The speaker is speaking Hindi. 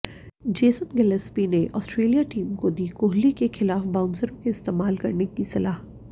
जेसन गिलेस्पी ने ऑस्ट्रेलिया टीम को दी कोहली के खिलाफ बाउंसरों के इस्तेमाल की सलाह